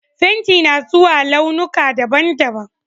Fenti na zuwa launuka daban-daban